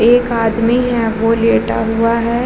एक आदमी है वो लेटा हुआ है |